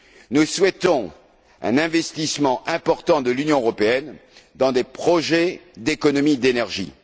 Nous souhaitons un investissement important de l'Union européenne dans des projets d'économie d'énergie.